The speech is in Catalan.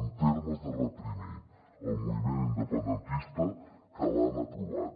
en termes de reprimir el moviment independentista que l’han aprovat